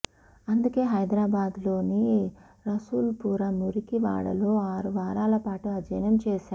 అందుకే హైదరాబాద్లోని రసూల్పుర మురికివాడలో ఆరు వారాల పాటు అధ్యయనం చేశా